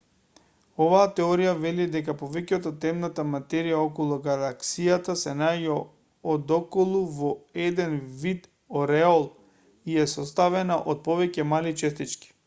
оваа теорија вели дека повеќето од темната материја околу галаксијата се наоѓа одоколу во еден вид ореол и е составена од повеќе мали честички